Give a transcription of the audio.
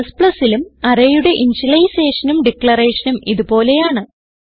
Cലും arrayയുടെ initializationനും declarationനും ഇത് പോലെയാണ്